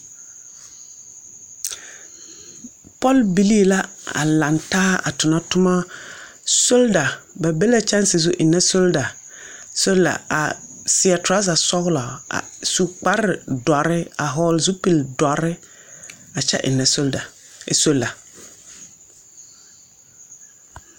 Pɔlbilii la a langtaa a tonatomma solda ba be la kyɛnse zu a eŋnɛ solda solar a seɛ traza sɔglɔ a su kparre dɔrre a vɔgle zupildɔrre a kyɛ eŋnɛ solar.